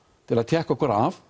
til að tékka okkur af